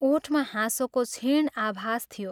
ओठमा हाँसोको क्षीण आभास थियो।